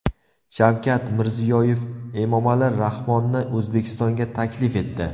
Shavkat Mirziyoyev Emomali Rahmonni O‘zbekistonga taklif etdi .